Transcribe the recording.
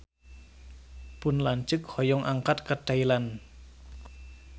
Pun lanceuk hoyong angkat ka Thailand